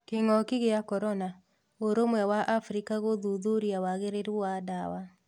Kĩng'oki gĩa korona:ũrũmwe wa Africa gũthuthuria wagĩrĩru wa dawa.